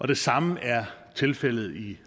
det samme er tilfældet i